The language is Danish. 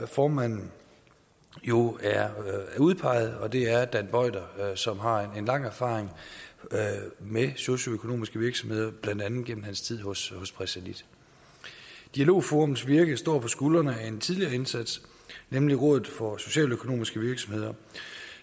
formand jo er udpeget og det er dan boyter som har lang erfaring med socialøkonomiske virksomheder blandt andet gennem sin tid hos pressalit dialogforums virke står på skuldrene af en tidligere indsats nemlig rådet for socialøkonomiske virksomheder